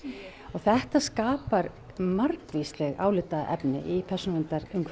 þetta skapar margvísleg álitaefni í